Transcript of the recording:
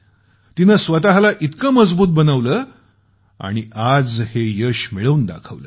तिनं स्वतःला इतकं मजबूत बनवलं आणि आज हे यश मिळवून दाखवलं